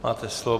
Máte slovo.